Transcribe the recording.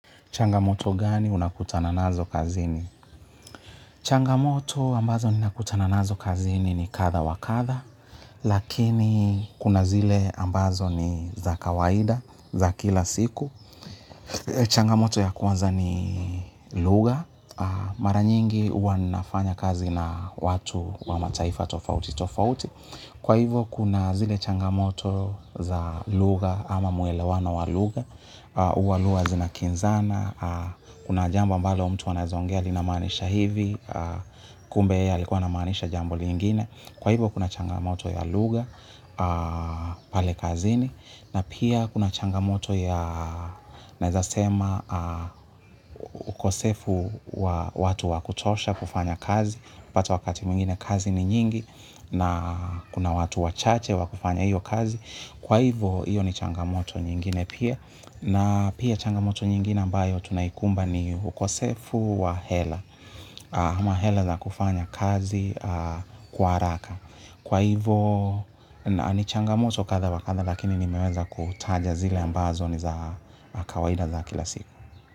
Changamoto gani unakutana nazo kazini? Changamoto ambazo ninakutana nazo kazini ni kadha wa kadha. Lakini kuna zile ambazo ni za kawaida za kila siku. Changamoto ya kwanza ni lugha. Mara nyingi huwa nafanya kazi na watu wa mataifa tofauti tofauti. Kwa hivyo kuna zile changamoto za lugha ama muelewano wa luga. Huwa lugha zinakinzana a. Kuna jambo ambalo mtu anaeza ongea linamanisha hivi kumbe yeye alikuwa anamaanisha jambo jingine kwa hivyo kuna changamotobya lugja pale kazini kwa hivyo naeza sema ukosefu wa watu wa kutosha kufanya kazi. Pata wakati mingine kazi ni nyingi. Na kuna watu wachache wakufanya iyo kazi. Kwa hivyo iyo ni changamoto nyingine pia na pia changamoyo ingine tunauoikumba ni ukosefibwa hela ama hela za kufanya kazi kwa haraka. Kwa hivo ni changamoto katha wa katha lakini nimeweza kutaja zile ambazo ni za kawaida za kila siku.